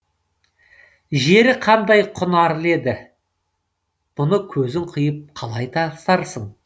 жері қандай құнарлы еді мұны көзің қиып қалай тастарсың